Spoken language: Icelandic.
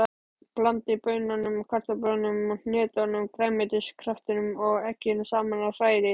Blandið baununum, kartöflunum, hnetunum, grænmetiskraftinum og egginu saman og hrærið.